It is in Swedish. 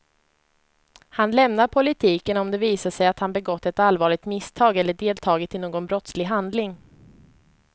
Han lämnar politiken om det visar sig att han begått ett allvarligt misstag eller deltagit i någon brottslig handling.